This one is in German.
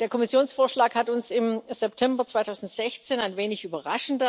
Der Kommissionsvorschlag hat uns im September 2016 ein wenig überraschend